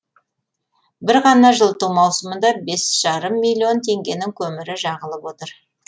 бір ғана жылыту маусымында бес жарым миллион теңгенің көмірі жағылып отыр